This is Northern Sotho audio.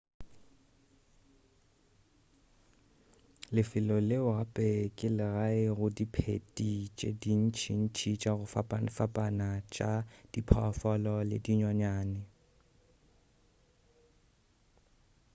lefelo leo gape ke le gae go diphedi tše dintšintši tša go fapafapana tša diphoofolo le dinonyane